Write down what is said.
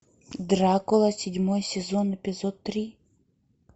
дракула седьмой сезон эпизод три